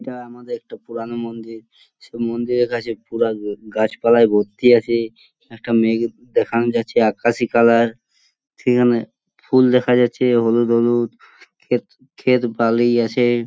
এটা আমাদের একটা পুরানো মন্দির । সেই মন্দিরের কাছে পুরা গাছপালায় ভর্তি আছে । একটা মেঘ দেখান যাচ্ছে আকাশি কালার । সেখানে ফুল দেখা যাচ্ছে হলুদ হলুদ। খেত খেত ভালোই আছে।